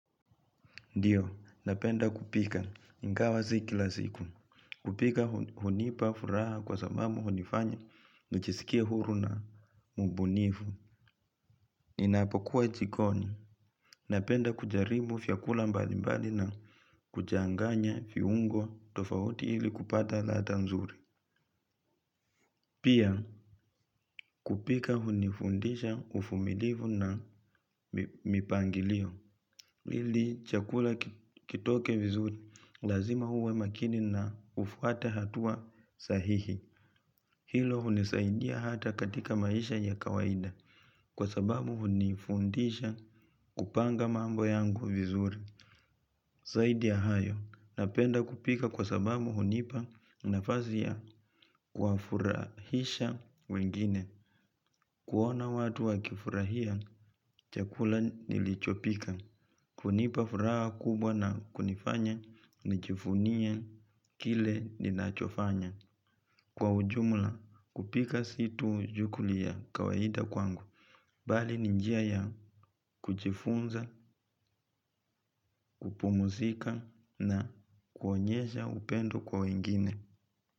Ndio, napenda kupika, ingawa si kila siku, kupika hunipa furaha kwa sababu hunifanya, nijisikie huru na mbunifu, ninapokuwa jikoni, napenda kujaribu vyakula mbali mbali na kuchanganya viungo tofauti ili kupata ladha nzuri. Pia kupika hunifundisha uvumilivu na mipangilio. Ili chakula kitoke vizuri lazima uwe makini na ufuate hatua sahihi. Hilo hunisaidia hata katika maisha ya kawaida. Kwa sababu hunifundisha kupanga mambo yangu vizuri. Zaidi ya hayo napenda kupika kwa sababu hunipa nafazi ya kuwafurahisha wengine. Kuona watu wakifurahia, chakula nilichopika. Hunipa furaha kubwa na kunifanya, nijivunie kile ninachofanya. Kwa ujumla, kupika si tu shughuli ya kawaida kwangu. Bali ni njia ya kujifunza, kupumuzika na kuonyesha upendo kwa wengine.